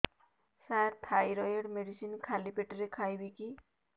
ସାର thyroid medicine ଖାଲି ପେଟରେ ଖାଇବି କି